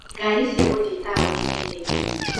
Ngari cia gũthiĩ taũni-inĩ nĩ nini.